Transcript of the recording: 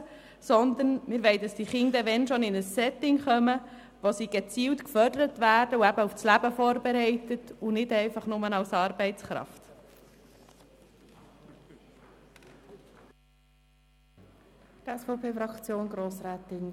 Wenn schon wollen wir, dass die Kinder in ein Setting kommen, in dem sie gezielt gefördert und auf das Leben vorbereitet werden und nicht einfach nur als Arbeitskraft benutzt werden.